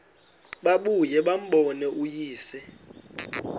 babuye bambone uyise